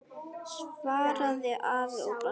svaraði afi og brosti.